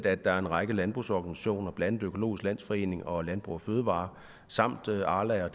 at der er en række landbrugsorganisationer blandt andet økologisk landsforening og landbrug fødevarer samt arla og